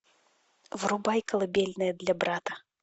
врубай колыбельная для брата